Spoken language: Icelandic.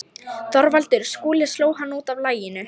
ÞORVALDUR: Skúli sló hann út af laginu.